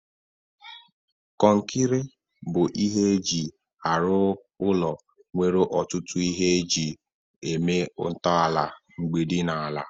kọnkịtị bụ ihe eji arụ ụlọ nwere ọtụtụ ihe eji eme ntọala, mgbidi na ala.